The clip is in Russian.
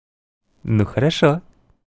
ну хорошо